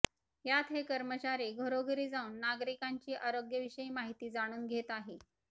यात हे कर्मचारी घरोघरी जाऊन नागरिकांची आरोग्य विषयी माहिती जाणून घेत आहे